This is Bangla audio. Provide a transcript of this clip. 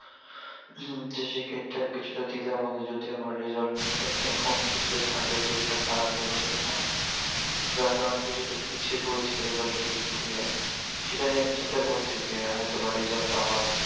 হম তো সেই ক্ষেত্রে আমি কিছুটা দ্বিধার মধ্যে যদিও আমার result মোটামুটি এখন কিছুটা third year এ কিছুটা খারাপ হয়েছে। যার কারণে কিছুটা পিছিয়ে পরেছি result এর দিক থেকে। সেটা নিয়ে চিন্তা করছি যে হয়তোবা result টা আবার